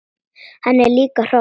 Hann er líka hross!